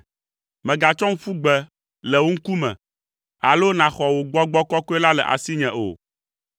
Mègatsɔm ƒu gbe le wò ŋkume, alo nàxɔ wò Gbɔgbɔ Kɔkɔe la le asinye o.